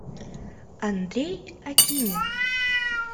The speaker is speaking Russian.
андрей акинин